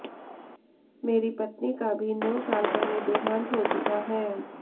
मेरी पत्नी का भी नौ साल पहले देहांत हो चुका है